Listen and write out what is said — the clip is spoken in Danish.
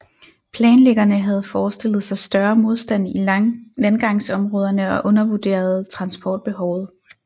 Planlæggerne havde forestillet sig større modstand i landgangsområderne og undervurderede transportbehovet